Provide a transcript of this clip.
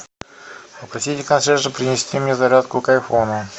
попросите консьержа принести мне зарядку к айфону